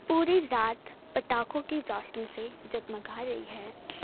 पूरी रात पटाखों की रोशनी से जगमगा रही है।